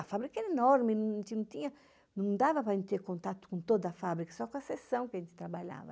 A fábrica era enorme, não dava para ter contato com toda a fábrica, só com a sessão que a gente trabalhava.